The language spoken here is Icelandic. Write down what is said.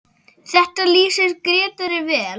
Þetta lýsir Grétari vel.